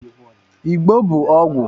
Ịgbó bụ ọgwụ